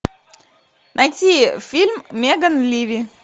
найти фильм меган ливи